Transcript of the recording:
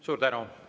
Suur tänu!